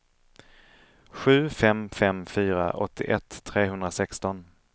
sju fem fem fyra åttioett trehundrasexton